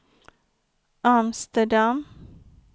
Amsterdam